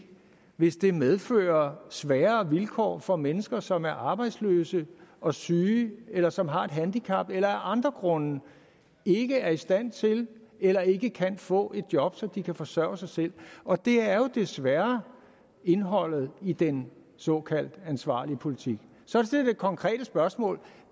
hvis det medfører sværere vilkår for mennesker som er arbejdsløse og syge eller som har et handicap eller af andre grunde ikke er i stand til eller ikke kan få et job så de kan forsørge sig selv og det er jo desværre indholdet i den såkaldt ansvarlige politik så til det konkrete spørgsmål